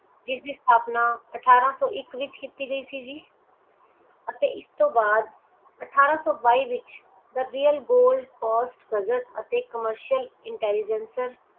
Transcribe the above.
ਜਿਸ ਦੀ ਸਥਾਪਨਾ ਅਠਾਰਾਂ ਸੋ ਇਕ ਵਿਚ ਕੀਤੀ ਗਈ ਸੀ ਜੀ ਅਤੇ ਇਸਤੋਂ ਬਾਅਦ ਅਠਾਰਾਂ ਸੋ ਬਾਈ ਦੇ ਵਿਚ the royal gold coast gazzete and commercial intelligencer